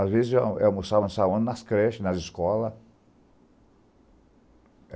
Às vezes, eu eu almoçava na sala, nas creches, nas escolas.